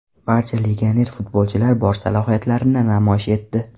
Barcha legioner futbolchilar bor salohiyatlarini namoyish etdi.